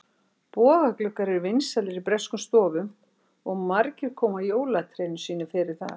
Bogagluggar eru vinsælir í breskum stofum og margir koma jólatrénu sínu fyrir þar.